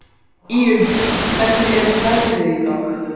Íunn, hvernig er veðrið í dag?